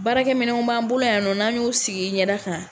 Baarakɛ minɛw b'an bolo yan, n'an y'u sig'i yɛda kan.